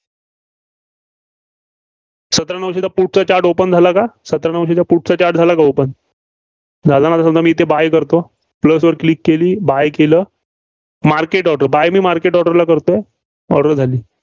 सतरा नऊशेचा put चा chart open झाला का? सतरा नऊशेचा put चा चार्ट झाला का open? झाला नसलं तर मी ते buy करतो. plus वर Click केली. buy केलं. market auto buy मी market auto ला करतोय. order झाली.